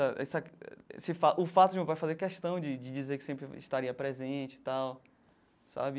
Essa esse fa o fato de meu pai fazer questão de de dizer que sempre estaria presente e tal, sabe?